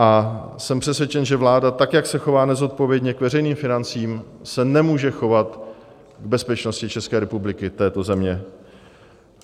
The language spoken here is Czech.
A jsem přesvědčen, že vláda, tak jak se chová nezodpovědně k veřejným financím, se nemůže chovat k bezpečnosti České republiky, této země.